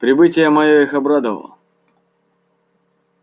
прибытие моё их обрадовало